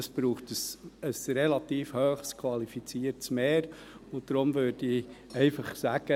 Das braucht jedoch ein relativ hohes qualifiziertes Mehr, und deshalb würde ich einfach sagen: